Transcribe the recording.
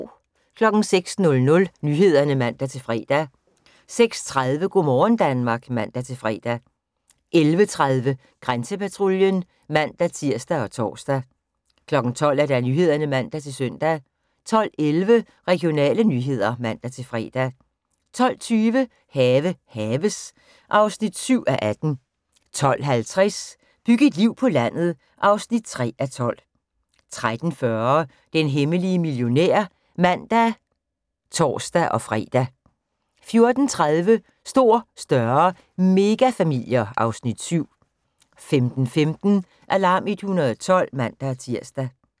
06:00: Nyhederne (man-fre) 06:30: Go' morgen Danmark (man-fre) 11:30: Grænsepatruljen (man-tir og tor) 12:00: Nyhederne (man-søn) 12:11: Regionale nyheder (man-fre) 12:20: Have haves (7:18) 12:50: Byg et liv på landet (3:12) 13:40: Den hemmelige millionær (man og tor-fre) 14:30: Stor, større – megafamilier (Afs. 7) 15:15: Alarm 112 (man-tir)